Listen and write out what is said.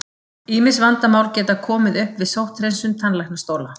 Ýmis vandamál geta komið upp við sótthreinsun tannlæknastóla.